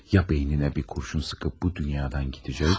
Ya beyninə bir kurşun sıxıb bu dünyadan gedəcək.